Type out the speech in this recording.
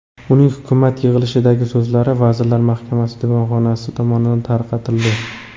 Uning hukumat yig‘ilishidagi so‘zlari vazirlar mahkamasi devonxonasi tomonidan tarqatildi.